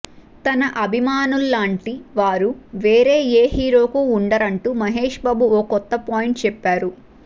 తన అభిమానుల్లాంటి వారు వేరే ఏ హీరోకు వుండరంటూ మహేష్ బాబు ఓ కొత్త పాయింట్ చెప్పారు